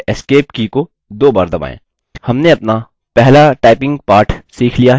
मुख्य मेन्यू में वापस जाने के लिए escape की को दो बार दबाएँ